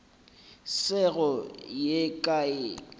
se go ye kae o